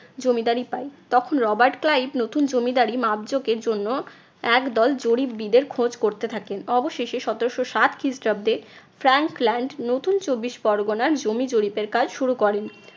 জমিদারি পায়। তখন Robert Clive নতুন জমিদারি মাপ জোকের জন্য একদল জরিপবীদের খোঁজ করতে থাকেন। অবশেষে সতেরশো সাত খ্রিস্টাব্দে প্রাঙ্ক ল্যান্ড নতুন চব্বিশ পরগনার জমি জরিপের কাজ শুরু করেন।